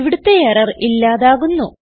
ഇവിടുത്തെ എറർ ഇല്ലാതാകുന്നു